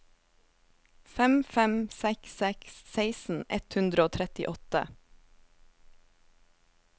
fem fem seks seks seksten ett hundre og trettiåtte